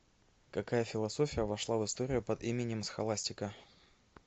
какая философия вошла в историю под именем схоластика